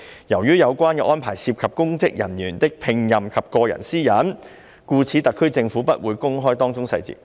由於有關安排涉及公職人員的聘任及個人私隱，故此特區政府不會公開當中細節"。